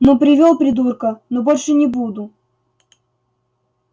ну привёл придурка ну больше не буду